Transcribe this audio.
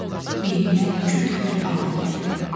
Beyninə küt bir ağrı gəldi.